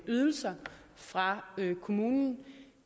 ydelser fra kommunen